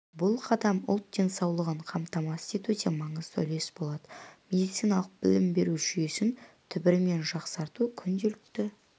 бұл қадам ұлт денсаулығын қамтамасыз етуде маңызды үлес болады медициналық білім беру жүйесін түбірімен жақсарту күнделікті